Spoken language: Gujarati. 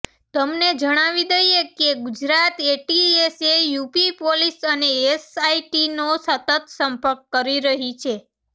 તમને જણાવી દઈએ કે ગુજરાત એટીએસએ યૂપી પોલીસ અને એસઆઈટીનો સતત સંપર્ક કરી રહી છે